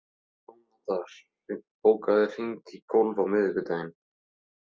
Sónata, bókaðu hring í golf á miðvikudaginn.